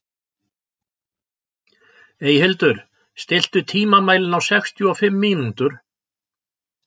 Eyhildur, stilltu tímamælinn á sextíu og fimm mínútur.